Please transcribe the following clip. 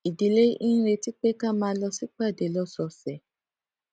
ìdílé ń retí pé ká máa lọ sípàdé lósòòsè